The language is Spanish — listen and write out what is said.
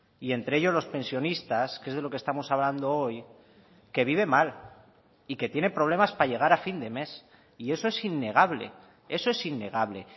y entre ellos los pensionistas que es de lo que estamos hablando hoy que vive mal y que tiene problemas para llegar a fin de mes y eso es innegable eso es innegable